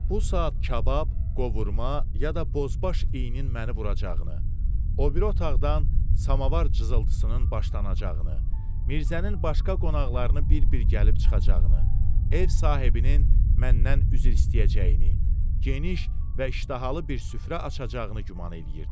Bu saat kabab, qovurma ya da bozbaş iyinin məni vuracağını, o biri otaqdan samavar cızıltısının başlanacağını, Mirzənin başqa qonaqlarını bir-bir gəlib çıxacağını, ev sahibinin məndən üzr istəyəcəyini, geniş və iştahalı bir süfrə açacağını güman eləyirdim.